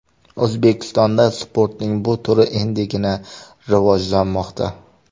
O‘zbekistonda sportning bu turi endigina rivojlanmoqda.